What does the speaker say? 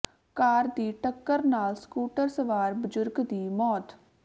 ਕਾਰ ਦੀ ਟੱਕਰ ਨਾਲ ਸਕੂਟਰ ਸਵਾਰ ਬਜ਼ੁਰਗ ਦੀ ਮੌਤ